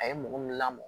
A ye mɔgɔ min lamɔ